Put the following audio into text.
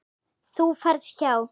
Þú ferð hjá